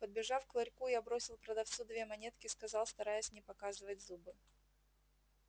подбежав к ларьку я бросил продавцу две монетки сказал стараясь не показывать зубы